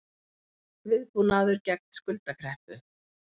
Viðbúnaður gegn skuldakreppu